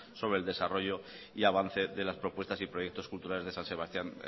sobre el desarrollo y avance de las propuestas y proyectos culturales de san sebastián